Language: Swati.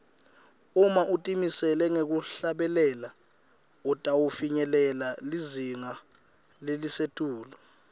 uma utimisele ngekuhlabela utawufinyelela lizinga lelisetulu